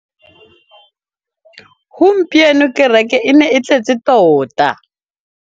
Gompieno kêrêkê e ne e tletse tota.